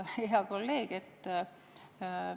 Hea kolleeg!